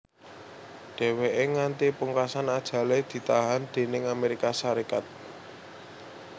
Dhèwèké nganti pungkasan ajalé ditahan déning Amérika Sarékat